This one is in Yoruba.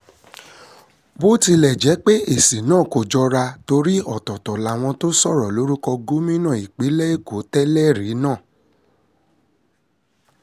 bó tilẹ̀ jẹ́ pé èsì náà kò jọra torí ọ̀tọ̀ọ̀tọ̀ làwọn tó sọ̀rọ̀ lórúkọ gómìnà ìpínlẹ̀ èkó tẹ́lẹ̀rí náà